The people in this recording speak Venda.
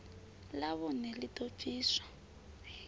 ḽa vhuṋe ḽi ḓo bviswa